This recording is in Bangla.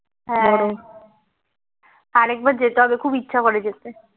হ্যাঁ আর একবার যেতে হবে খুব ইচ্ছে করে যেতে